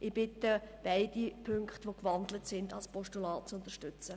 Ich bitte Sie, beide Ziffern als Postulat zu unterstützen.